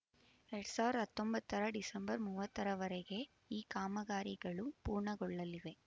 ಎರಡ್ ಸಾವಿರ ಹತ್ತೊಂಬತ್ತರ ಡಿಸೆಂಬರ್ ಮೂವತ್ತರ ವರೆಗೆ ಈ ಕಾಮಗಾರಿಗಳು ಪೂರ್ಣಗೊಳ್ಳಲಿವೆ